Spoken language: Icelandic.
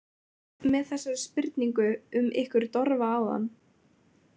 Með þessari spurningu um ykkur Dofra áðan.